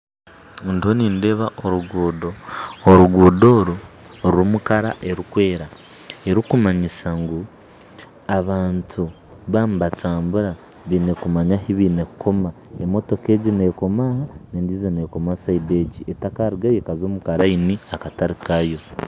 Ndiho nindeeba oruguuto, oruguuto oru rurimu erangi erikwera erikumanyisa ngu abantu baba nibantambura baine kumanya ahi baine kukoma emotoka egi nekoma aha, endiijo nekoma orubaju oru etakarugayo ekaza omukarayirini akatari kaayo.